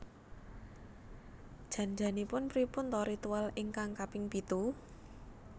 Jan janipun pripun ta ritual ingkang kaping pitu?